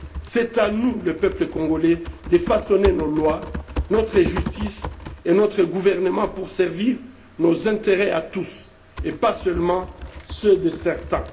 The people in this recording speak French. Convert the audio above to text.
C'est à nous, le peuple congolais, de façonner nos lois, notre justice et notre gouvernement pour servir nos intérêts à tous et pas seulement ceux de certains.